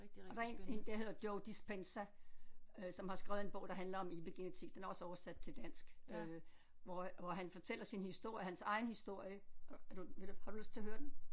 Og der er en en der hedder Joe Dispenza øh som har skrevet en bog der handler om epigenetik den er også oversat til dansk øh hvor hvor han fortæller sin historie hans egen historie er du vil du har du lyst til at høre den